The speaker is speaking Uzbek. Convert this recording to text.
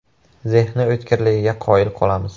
Zehni o‘tkirligiga qoyil qolamiz.